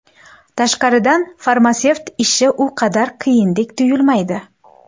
Tashqaridan farmatsevt ishi u qadar qiyindek tuyulmaydi.